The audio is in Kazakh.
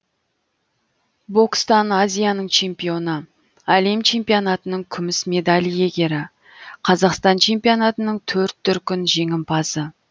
бокстан азияның чемпионы әлем чемпионатының күміс медаль иегері қазақстан чемпионатының төрт дүркін жеңімпазы